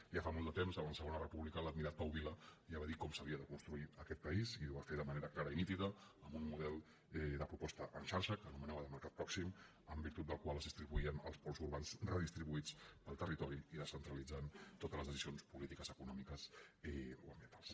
ja fa molt de temps en la segona repúbli·ca l’admirat pau vila ja va dir com s’havia de cons·truir aquest país i ho va fer de manera clara i nítida amb un model de proposta en xarxa que anomenava de mercat pròxim en virtut del qual es distribuïen els pols urbans redistribuïts pel territori i descentralitzant totes les decisions polítiques econòmiques o ambien·tals